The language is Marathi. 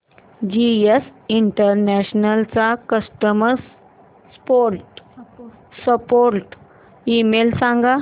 जीएस इंटरनॅशनल चा कस्टमर सपोर्ट ईमेल सांग